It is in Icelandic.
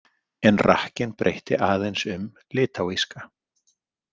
En rakkinn breytti aðeins um litáíska.